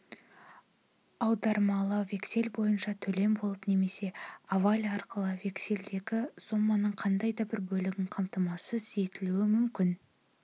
аудармалы вексель бойынша төлем болып немесе аваль арқылы вексельдегі соманың қандай да бір бөлігін қамтамасыз етілуі мүмкін